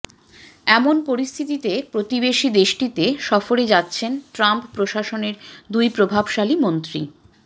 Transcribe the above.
এমন পরিস্থিতিতে প্রতিবেশি দেশটিতে সফরে যাচ্ছেন ট্রাম্প প্রশাসনের দুই প্রভাবশালী মন্ত্রী